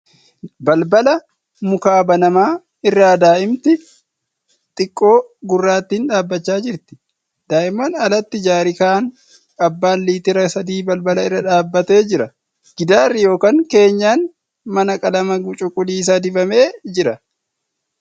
Balbala mukaa banamaa irra daa'imti xiqqoo guraattiin dhaabachaa jirti .Daa'immaan alatti jaarikaan abbaan liitira sadii balbala irra dhaabbatee jira. Gidaarri yookan keenyan mana qalama cuquliisa dibamee jira. Golgaan karaa foddaan alatti gadi ba'ee jira.